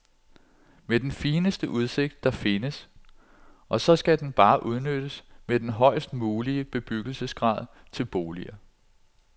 Med den fineste udsigt, der findes, og så skal den bare udnyttes med den højst mulige bebyggelsesgrad, til boliger.